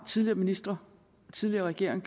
tidligere ministre tidligere regeringer